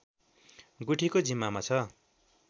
गुठीको जिम्मामा छ